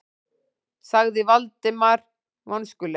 sagði Valdimar vonskulega.